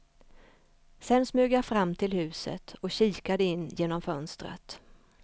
Sen smög jag fram till huset och kikade in genom fönstret.